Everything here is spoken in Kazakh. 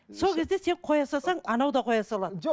сол кезде сен қоя салсаң анау да қоя салады